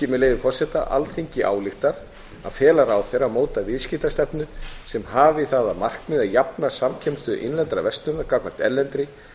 með leyfi forseta alþingi ályktar að fela ráðherra að móta viðskiptastefnu sem hafi að markmiði að jafna samkeppnisstöðu innlendrar verslunar gagnvart erlendri